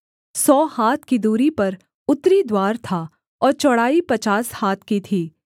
सौ हाथ की दूरी पर उत्तरी द्वार था और चौड़ाई पचास हाथ की थी